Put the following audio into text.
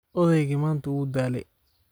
Odaygii maanta wuu daalay